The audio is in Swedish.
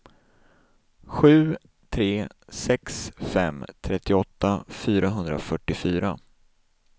sju tre sex fem trettioåtta fyrahundrafyrtiofyra